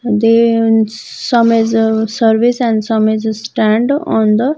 They and some is a service and some is a stand on the --